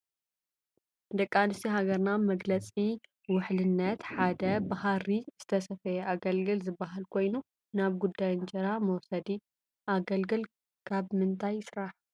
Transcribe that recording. ደቂ አነሰትዮ ሃገርና መግለፂ ውሕልነት ሐደ በሃር ዝተሰፈ አገልግል ዝበሃል ኮይኑ ናብ ጉዳይ እንጀራ መውሰዲ ። አገልግል ከብ ምንታይ ይሰራሕ?